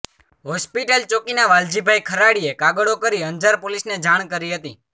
hospital ચોકીના વાલજીભાઇ ખરાડીએ કાગળો કરી અંજાર પોલીસને જાણ કરી હતી